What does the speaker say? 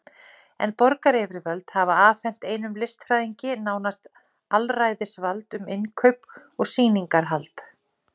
En borgaryfirvöld hafa afhent einum listfræðingi nánast alræðisvald um innkaup og sýningarhald.